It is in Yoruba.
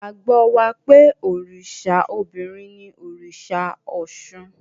Ìgbàgbọ́ wà pé òrìṣà obìnrin ni òrìṣà Ọ̀ṣun.